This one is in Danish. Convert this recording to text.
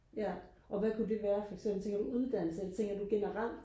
ja og hvad kunne det være for eksempel tænker du uddannelse eller tænker du generelt